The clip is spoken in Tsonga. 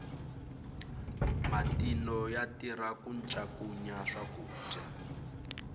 matino ya tirha ku ncakunya swakudya